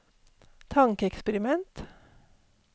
tankeeksperiment